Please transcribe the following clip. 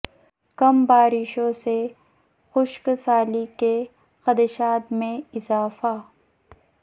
کم بارشوں سے خشک سالی کے خدشات میں اضافہ